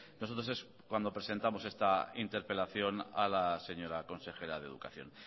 nosotros es cuando presentamos esta interpelación a la señora consejera de educación